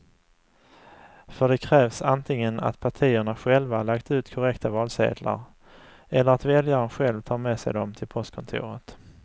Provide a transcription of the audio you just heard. För det krävs antingen att partierna själva lagt ut korrekta valsedlar eller att väljaren själv tar med sig dem till postkontoret.